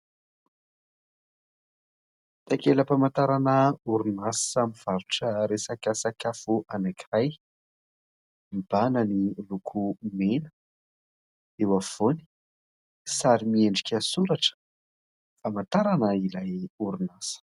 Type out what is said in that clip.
Takela-pamantarana orinasa mivarotra resaka sakafo anankiray : mibahana ny loko mena, eo afovoany, sary miendrika soratra famantarana ilay orinasa.